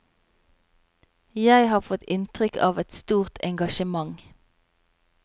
Jeg har fått inntrykk av et stort engasjement.